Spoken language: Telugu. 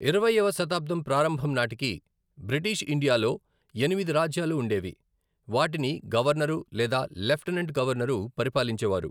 ఇరవైయోవ శతాబ్దం ప్రారంభం నాటికి, బ్రిటీష్ ఇండియాలో ఎనిమిది రాజ్యాలు ఉండేవి, వాటిని గవర్నరు లేదా లెఫ్టినెంట్ గవర్నరు పరిపాలించే వారు.